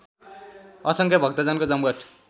असङ्ख्य भक्तजनको जमघट